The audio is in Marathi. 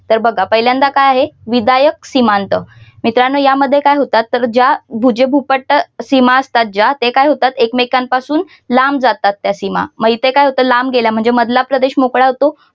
तर बघा पहिल्यांदा काय आहे विधायक सीमांत मित्रांनो या मध्ये काय होतात तर ज्या भुज भूपट्ट सीमा असतात ज्या त्या काय होतात एकमेकांपासून लांब जातात त्या सिमा मग इथे काय होतं लांब गेल्या म्हणजे मधला प्रदेश मोकळा होतो.